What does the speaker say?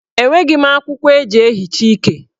Enweghi m akwụkwọ eji ehicha ike.